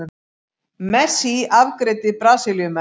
Messi afgreiddi Brasilíumenn